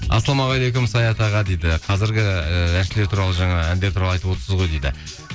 ассалаумағалейкум саят аға дейді қазіргі ыыы әншілер туралы жаңа әндер туралы айтып отырсыз ғой дейді